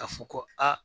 Ka fɔ ko aa